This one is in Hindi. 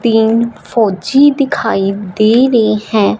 तीन फौजी दिखाई दे रहे हैं।